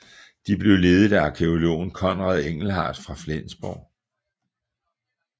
De blev ledet af arkæologen Conrad Engelhardt fra Flensborg